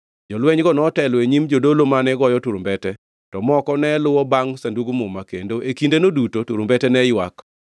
Jolwenygo notelo e nyim jodolo mane goyo turumbete, to moko ne luwo bangʼ Sandug Muma, kendo e kindeno duto turumbete ne ywak.